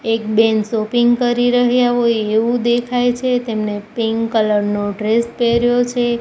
એક બેન શોપીંગ કરી રહ્યા હોય એવુ દેખાય છે તેમને પિંક કલર નો ડ્રેસ પહેર્યો છે.